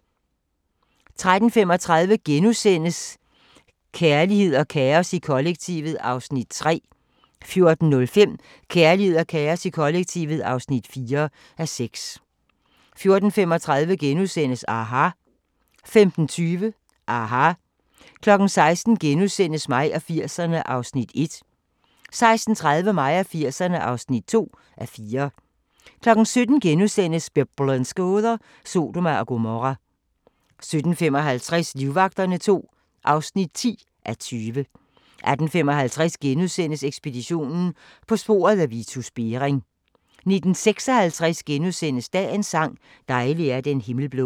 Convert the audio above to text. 13:35: Kærlighed og kaos i kollektivet (3:6)* 14:05: Kærlighed og kaos i kollektivet (4:6) 14:35: aHA! * 15:20: aHA! 16:00: Mig og 80'erne (1:4)* 16:30: Mig og 80'erne (2:4) 17:00: Biblens gåder – Sodoma og Gomorra * 17:55: Livvagterne II (10:20) 18:55: Ekspeditionen - på sporet af Vitus Bering * 19:56: Dagens sang: Dejlig er den himmel blå *